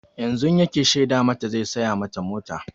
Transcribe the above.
Yanzun yake shaida mata zai saya mata mota.